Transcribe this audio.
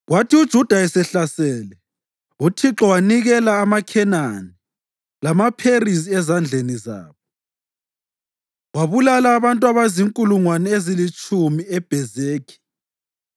Kwathi uJuda esehlasele, uThixo wanikela amaKhenani lamaPherizi ezandleni zabo, wabulala abantu abazinkulungwane ezilitshumi eBhezekhi.